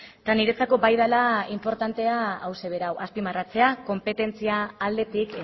eta niretzako bai dela inportantea hauxe bera azpimarratzea konpetentzia aldetik